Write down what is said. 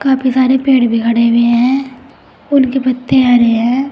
काफी सारे पेड़ भी खड़े हुए है उनके पत्ते हरे है।